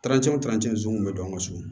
zonzan kun mi don an ka so